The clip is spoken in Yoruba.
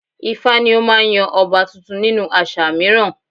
ifá ni ó máa ń yan ọba tuntun nínú àṣà mìíràn